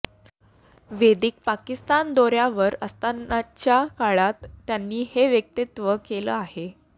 वैदिक पाकिस्तान दौऱ्यावर असतानाच्या काळात त्यांनी हे वक्तव्य केलं आहे